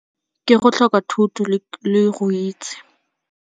Ke go tlhoka thuto le go itse.